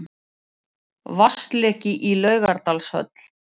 Vatnsleki í Laugardalshöll